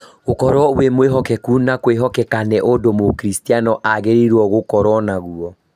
Gũkorwo wĩ mwĩhokeku na kwĩhokekeka nĩ ũndũ mũkristiano agĩrĩirũo gũkorũo naguo